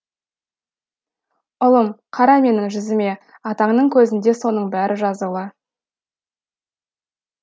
ұлым қара менің жүзіме атаңның көзінде соның бәрі жазулы